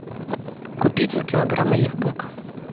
купи два килограмма яблок